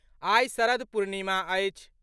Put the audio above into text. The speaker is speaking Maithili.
आइ शरद पूर्णिमा अछि।